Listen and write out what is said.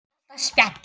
Og alltaf spjall.